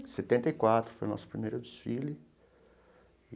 Setenta e quatro, foi o nosso primeiro desfile.